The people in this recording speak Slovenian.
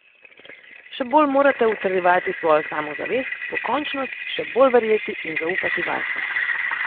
Še bolj morate utrjevati svojo samozavest, pokončnost, še bolj verjeti in zaupati vase.